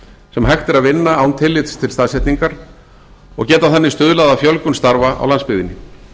sem hægt er að vinna án tillits til staðsetningar og geta þannig stuðlað að fjölgun starfa á landsbyggðinni